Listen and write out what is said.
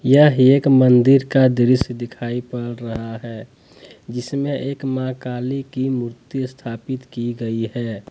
यह एक मंदिर का दृश्य दिखाई पड़ रहा है जिसमें एक मां काली की मूर्ति स्थापित की गई है ।